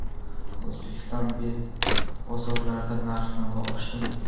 O‘zbekiston bozorlarida narx-navo oshdimi?.